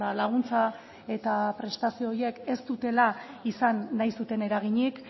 laguntza eta prestazio horiek ez dutela izan nahi zuten eraginik